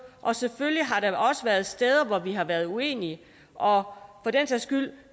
og selvfølgelig har der også været steder hvor vi har været uenige og